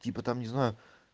типа там не знаю